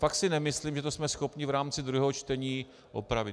Fakt si nemyslím, že to jsme schopni v rámci druhého čtení opravit.